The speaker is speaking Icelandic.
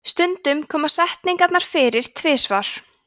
stundum koma setningarnar fyrir tvisvar